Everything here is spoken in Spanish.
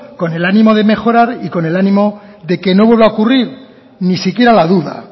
con el ánimo de mejorar y con el ánimo de que no vuelva a ocurrir ni siquiera la duda